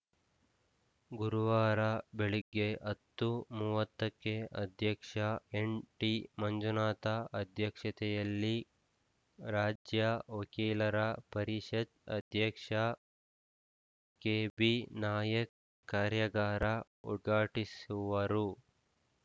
ಗುರುವಾರ ಬೆಳಗ್ಗೆ ಹತ್ತು ಮೂವತ್ತಕ್ಕೆ ಅಧ್ಯಕ್ಷ ಎನ್‌ಟಿಮಂಜುನಾಥ ಅಧ್ಯಕ್ಷತೆಯಲ್ಲಿ ರಾಜ್ಯ ವಕೀಲರ ಪರಿಷತ್‌ ಅಧ್ಯಕ್ಷ ಕೆಬಿನಾಯಕ್‌ ಕಾರ್ಯಾಗಾರ ಉದ್ಘಾಟಿಸುವರು